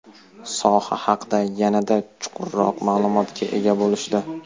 soha haqda yanada chuqurroq ma’lumotga ega bo‘lishdi.